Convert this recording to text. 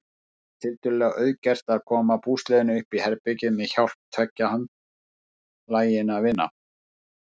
Það var tiltölulega auðgert að koma búslóðinni uppí herbergið með hjálp tveggja handlaginna vina.